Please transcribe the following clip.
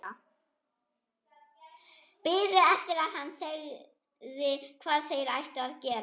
Það var vonlaust að reyna að róa hann.